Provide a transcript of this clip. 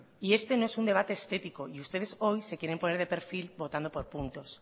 y este no es un debate estético y ustedes se quieren poner de perfil votando por puntos